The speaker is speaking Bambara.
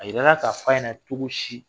A yirala ka f'a ɲana cogo si